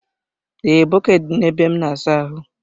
Ee, bọkeeti dị na ebe m n'asa ahụ.